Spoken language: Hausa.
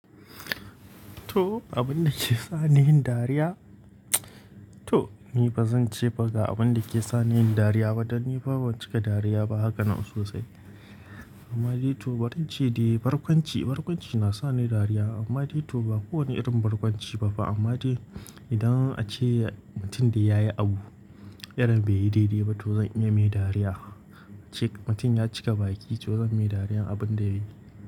To, abin da ke sa ni yin dariya? To, ni ba zan ce ba ga abin da ke sa ni yin dariya ba dan ni fa ban cika dariya ba haka nan sosai. Amma dai to, barin ce dai barkwanci, barkwanci na sa ni dariya. Amma dai to ba kowane irin barkwanci ba fa amma dai idan ace mutum da ya yi abu, irin bai yi daidai ba to zan iya mai dariya. Ace mutum ya cika baki to zan mai dariya abin da yayi.